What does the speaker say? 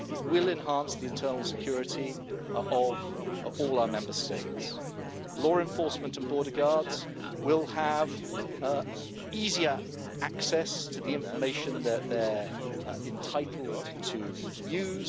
It will enhance the internal security of all our Member States. Law enforcement and border guards will have easier access to the information that they are entitled to use.